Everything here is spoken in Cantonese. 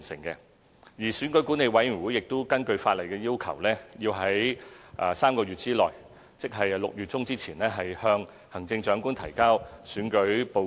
而選舉管理委員會亦會根據法例要求，在3個月內，即6月中之前，向行政長官提交選舉報告。